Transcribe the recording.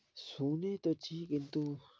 শুনে তো ছি, কিন্তু,